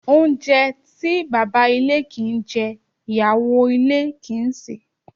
Oúnjẹ to baba ilé kin ń jẹ, iyawo ilé kin ń sẹ̀